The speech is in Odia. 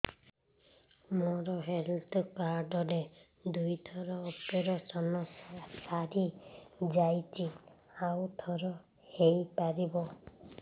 ମୋର ହେଲ୍ଥ କାର୍ଡ ରେ ଦୁଇ ଥର ଅପେରସନ ସାରି ଯାଇଛି ଆଉ ଥର ହେଇପାରିବ